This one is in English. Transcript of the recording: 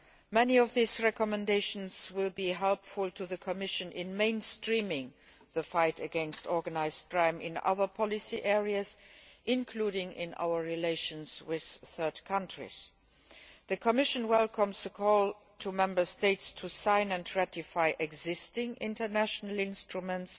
Many of these recommendations will be helpful to the Commission in mainstreaming the fight against organised crime in other policy areas, including in our relations with third countries. The Commission welcomes the call to Member States to sign and ratify existing international instruments,